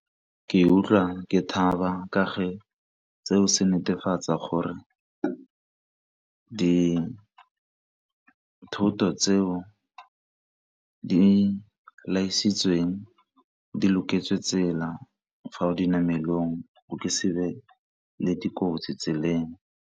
Ke utlwa ke thaba ka fa seo se netefatsa gore dithoto tseo di laisitsweng di loketse tsela fa o dinamelong go ke sebe le dikotsi tseleng.